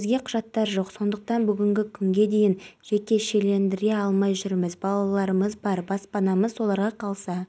қазақстан осы тәжрибелерді енгізу арқылы жұмыс тиімділігін арттырмақ айта кетейік қазмұнайгаз барлау өндіру акционерлік қоғамы мұнай өндіру көлемі жағынан қазақстандық компаниялардың